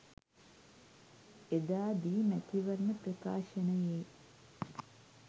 එදා දී මැතිවරණ ප්‍රකාශනයේ